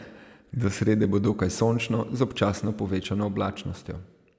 Do srede bo dokaj sončno z občasno povečano oblačnostjo.